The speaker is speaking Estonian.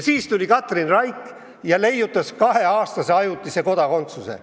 Siis tuli Katrin Raik ja leiutas kaheaastase ajutise kodakondsuse.